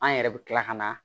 An yɛrɛ bɛ tila kana